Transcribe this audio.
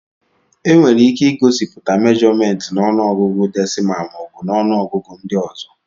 Enwere ike igosipụta mèjọmèntị na ọnụọgụ dèsịmá maọbu na ọnụọgụ ndị ọzọ